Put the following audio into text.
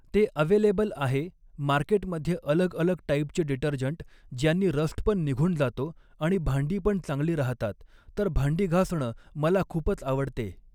ते अवेलेबल आहे मार्केटमधे अलग अलग टाईपचे डिटर्जंट ज्यांनी रस्ट पण निघून जातो आणि भांडी पण चांगली राहतात तर भांडी घासणं मला खूपच आवडते